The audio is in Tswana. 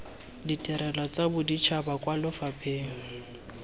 ditirelo tsa boditšhaba kwa lefapheng